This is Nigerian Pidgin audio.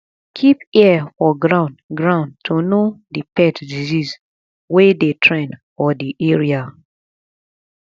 keep ear for ground ground to know di pet disease wey dey trend for di area